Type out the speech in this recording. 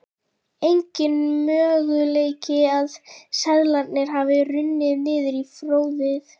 Enginn möguleiki að seðlarnir hafi runnið niður í fóðrið.